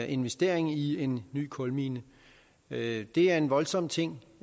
investering i en ny kulmine det er en voldsom ting